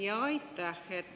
Jaa, aitäh!